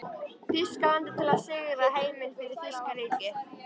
Þýskalandi til að sigra heiminn fyrir þýska ríkið.